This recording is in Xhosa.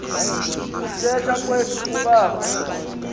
kuthetha kwethu kubawo